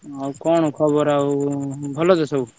ଆଉ କଣ ଖବର ଆଉ ଭଲ ତ ସବୁ?